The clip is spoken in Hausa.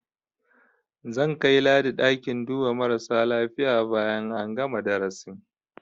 Zan kai Ladi ɗakin duba marasa lafiya bayan an gana darasin.